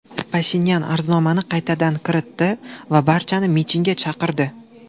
Pashinyan arznomani qaytadan kiritdi va barchani mitingga chaqirdi.